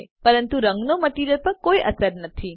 પરંતુ રંગનો મટીરીઅલ પર કોઈ અસર નથી